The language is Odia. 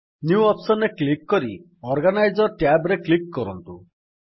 ନ୍ୟୁ ଅପ୍ସନ୍ ରେ କ୍ଲିକ୍ କରି ଅର୍ଗାନାଇଜର ଟ୍ୟାବ୍ ରେ କ୍ଲିକ୍ କରନ୍ତୁ